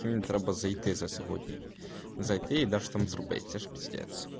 тромбоциты за сегодня зайти и даже там с рублёвки